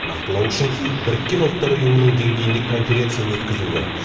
нақтылау үшін біріккен ұлттар ұйымының деңгейінде конференция өткізу керек